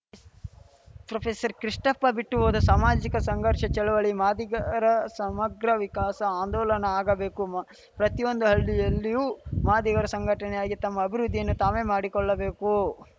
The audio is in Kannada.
ಪ್ರೊಫೆಸರ್ ಕೃಷ್ಣಪ್ಪ ಬಿಟ್ಟು ಹೋದ ಸಾಮಾಜಿಕ ಸಂಘರ್ಷ ಚಳುವಳಿ ಮಾದಿಗರ ಸಮಗ್ರ ವಿಕಾಸ ಆಂದೋಲನ ಆಗಬೇಕು ಪ್ರತಿಯೊಂದು ಹಳ್ಳಿಯಲ್ಲಿಯೂ ಮಾದಿಗರು ಸಂಘಟನೆಯಾಗಿ ತಮ್ಮ ಅಭಿವೃದ್ಧಿಯನ್ನು ತಾವೇ ಮಾಡಿಕೊಳ್ಳಬೇಕು